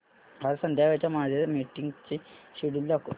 आज संध्याकाळच्या माझ्या मीटिंग्सचे शेड्यूल दाखव